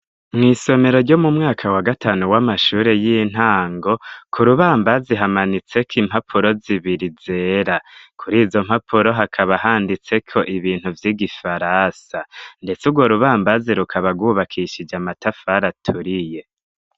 Mw' isomero ryo mu mwaka wa gatanu w'amashuri y'intango, kurubambazi hamanitse ko impapuro zibiri zera ,kuri izo mpapuro hakaba handitseko ibintu vy'igifaransa ndetse ugwo rubambazi rukaba gwubakishij'amatafar' aturiye